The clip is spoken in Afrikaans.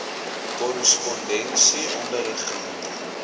korrespondensie onderrig genoem